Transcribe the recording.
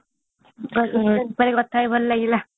ହଁ hostel ବିଷୟରେ କଥା ହେଇ ଭଲ ଲାଗିଲା